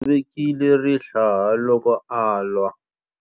U tshovekile rihlaya loko a lwa.